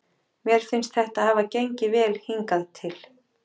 Mér finnst þetta hafa gengið vel hingað til.